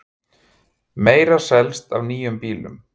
Meira selst af nýjum bílum